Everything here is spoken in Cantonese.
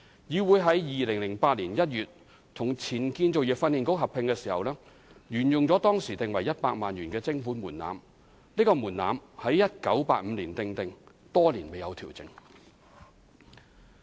議會於2008年1月與前建造業訓練局合併時，沿用了當時定為100萬元的徵款門檻。這個門檻在1985年訂定，多年未有調整。